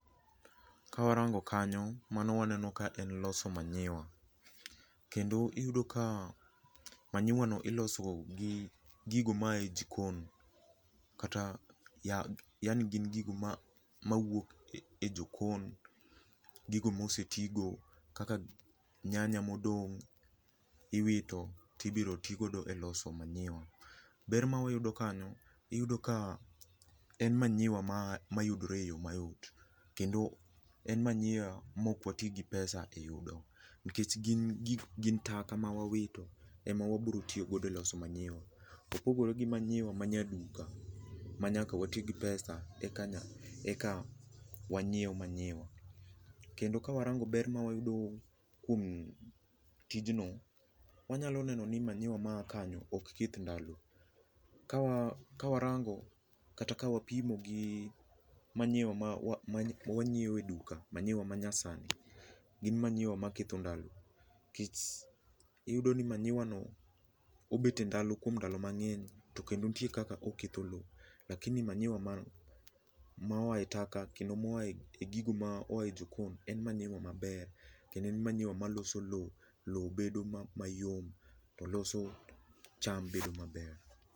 Ka warango kanyo mano waneno ka en loso manyiwa kendo iyudo ka manyiwa no iloso gi gigo ma aye jikon kata ,yaani gin gigo mawuok e jokon gigo mosetii go kaka nyanya modong iwito tibiro tigo e loso manyiwa. Ber ma wayudo kanyo, iyudo ka en manyiwa mayudore e yoo mayot kendo en manyiwa ma ok watii gi pesa e yudo nikech gin taka mawawito ema wabiro tiyo godo e loso maniwa. Opogore gi manyiwa manyaduka ma nyaka watii gi pesa eka wanyiew manyiwa. Kendo ka warango ber ma wayudo kuom tijno, wanyalo neno ni manyiwa maa kanyo ok keth ndalo, kawarango kata ka wapimo gi manyiwa ma wanyiew e duka, manyiwa manyasani, gin manyiwa maketho ndalo nikech iyudo ni manyiwa no obet e ndalo kuom ndalo mangeny to kendo nitie kaka oketho loo lakini manyiwa ma oaye taka kendo maoye gigo moaye jikon en manyiwa maber kendo en manyiwa maloso loo, loo bedo mayot to loso cham bedo maber.